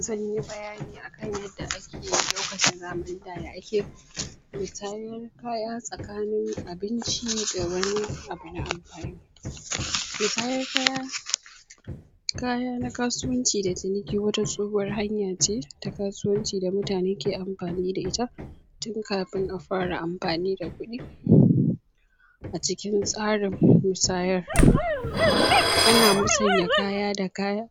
Zan yi bayani akan yadda ake- lokacin zamanin da ya ake musanyen kaya tsakanin abinci da wani abu na amfani musayar kaya kaya na kasuwanci da ciniki wata tsohuwar hanya ce ta kasuwanci da mutane ke amfani da ita tun kafin a fara amfani da kudi a cikin tsarin musayar ana musanya kaya da kaya